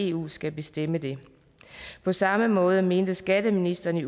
eu skal bestemme det på samme måde mente skatteministeren i